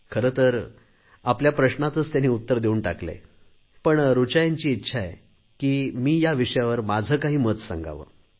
खरे तर आपल्या प्रश्नातच त्यांनी उत्तर देऊन टाकले आहे पण ऋचा यांची इच्छा आहे की मी या विषयावर माझे काही मत सांगावे